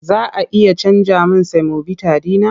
Za a iya canja min semobita ɗin man?